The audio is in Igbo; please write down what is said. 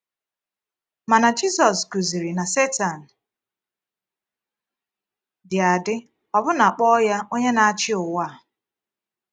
Mana Jisus kụziri na Setan dị adị, ọbụna kpọ ya “onye na-achị ụwa a.”